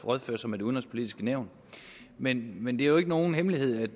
rådføre sig med det udenrigspolitiske nævn men men det er jo ikke nogen hemmelighed